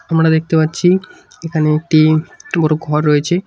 আমরা দেখতে পাচ্ছি এখানে একটি টুকরো ঘর রয়েছে।